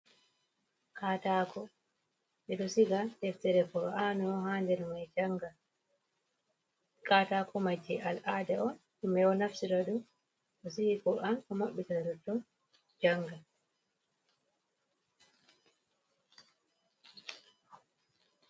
Katako ɓeɗo siga deftere qur an on ha nder mai, kaataako mai jei al ada on himɓe naftirta ɗo siga an ko maɓɓiti ɗo to janga.